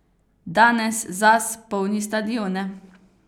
Danes Zaz polni stadione.